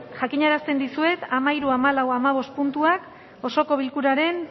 jakinarazten dizuet hamairu hamalau hamabost puntuak osoko bilkuraren